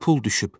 Pul düşüb.